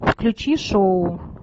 включи шоу